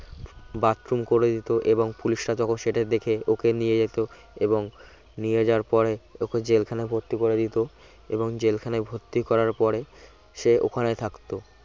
bathroom করে দিত এবং পুলিশরা যখন সেটা দেখে ওকে নিয়ে যেত এবং নিয়ে যাওয়ার পরে ওকে জেলখানায় ভর্তি করে দিত এবং জেলখানায় ভর্তি করার পরে সে ওখানে থাকতো